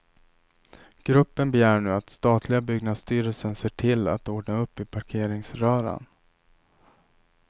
Gruppen begär nu att statliga byggnadsstyrelsen ser till att ordna upp i parkeringsröran.